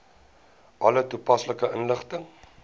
alle toepaslike inligting